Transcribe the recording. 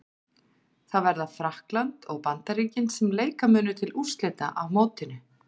Það verða Frakkland og Bandaríkin sem leika munu til úrslita á mótinu.